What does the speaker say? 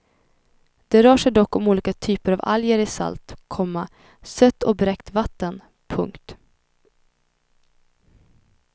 Det rör sig dock om olika typer av alger i salt, komma sött och bräckt vatten. punkt